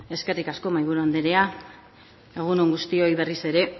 eskerrik asko mahaiburu andrea egun on guztioi berriz ere